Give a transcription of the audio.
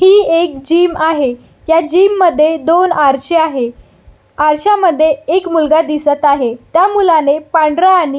ही एक जिम आहे ह्या जिम मध्ये दोन आरसे आहे आरशामध्ये एक मुलगा दिसत आहे त्या मुलाने पांढऱ्या आणि --